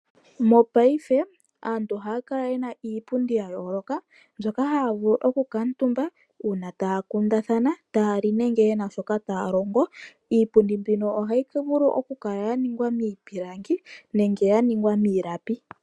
Mopaife aantu ohaya kala yena iipundi yayooloka mbyoka haya vulu okukala omutumba uuna taya kundathana, taya li nenge yena shoka taya longo. Iipundi mbino ohayi vulu okukala yaningwa miipilangi nenge yaningwa miilapi.